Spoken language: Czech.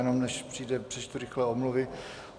Jenom, než přijde, přečtu rychle omluvy.